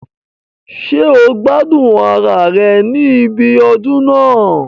Ṣé o gbádùn ara rẹ̀ ní ibi ọdún náà